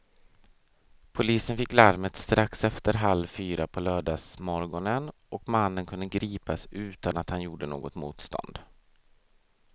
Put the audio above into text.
Polisen fick larmet strax efter halv fyra på lördagsmorgonen och mannen kunde gripas utan att han gjorde något motstånd.